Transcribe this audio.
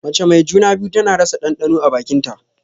Mace mai juna-biyu tana rasa ɗanɗano a bakin ta.